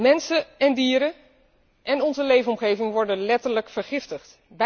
Mensen, dieren en onze leefomgeving worden letterlijk vergiftigd.